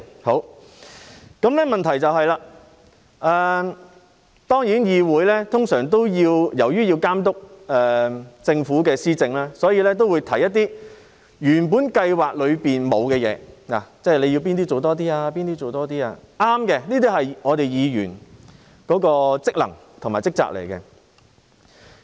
不過，由於議會要監督政府施政，所以議員通常會提出一些原本計劃內沒有的項目，例如指出哪些部分要多做一些，這是我們身為議員的職能和職責，是正確的。